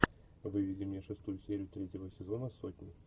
выведи мне шестую серию третьего сезона сотни